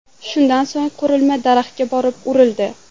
Shundan so‘ng qurilma daraxtga borib urildi .